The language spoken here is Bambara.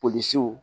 Polisiw